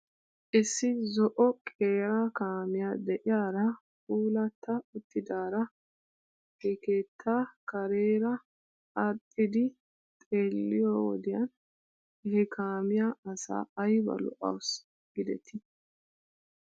Is ..si zo'o qeera kaamiyaa de'iyaara puulatta uttidaara he keetta kareera aadhdhiiddi xeelleyooĭ wodiyan he kaamiyaa asa ayba lo'awusu giidetii